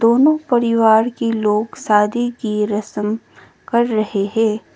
दोनों परिवार की लोग शादी की रस्म कर रहे है।